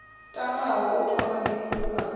tamaho u thoma bindu fhano